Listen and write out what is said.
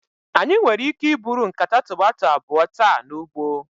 Anyị nwere ike iburu nkata tomato abụọ taa n'ugbo.